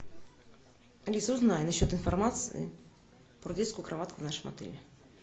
алиса узнай на счет информации про детскую кроватку в нашем отеле